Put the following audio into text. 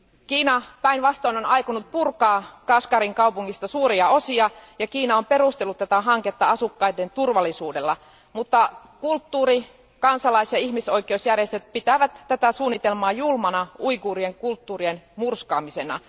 Kiina päinvastoin on aikonut purkaa Kashgarin kaupungista suuria osia, ja Kiina on perustellut tätä hanketta asukkaiden turvallisuudella, mutta kulttuuri kansalais ja ihmisoikeusjärjestöt pitävät tätä suunnitelmaa julmana uiguurien kulttuurien murskaamisena.